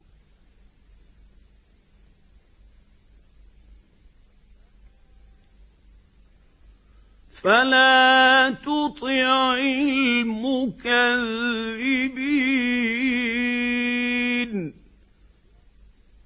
فَلَا تُطِعِ الْمُكَذِّبِينَ